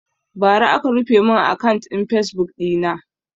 Bara aka rufe mun akant ɗin fasebuk ɗina